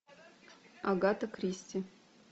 агата кристи